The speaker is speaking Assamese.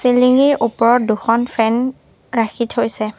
চিলিংঙিৰ ওপৰত দুখন ফেন ৰাখি থৈছে।